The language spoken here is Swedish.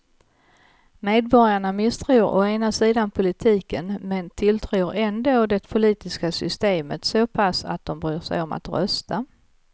Medborgarna misstror å ena sidan politiken men tilltror ändå det politiska systemet så pass att de bryr sig om att rösta.